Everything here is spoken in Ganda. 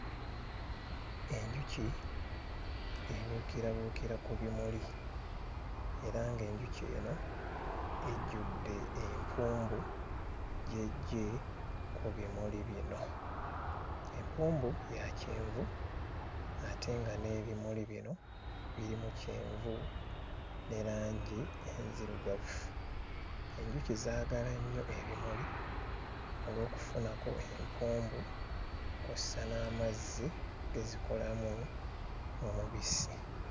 Enjuki ebuukirabuukira ku bimuli era ng'enjuki eno ejjudde empumbu gy'eggye ku bimuli bino. Empumbu ya kyenvu ate nga n'ebimuli bino birimu kyenvu ne langi enzirugavu. Enjuki zaagala nnyo ebimuli olw'okufunako empumbu kw'ossa n'amazzi ge zikolamu omubisi.